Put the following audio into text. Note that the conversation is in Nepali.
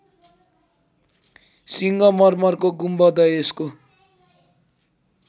सिङ्गमर्मरको गुम्बद यसको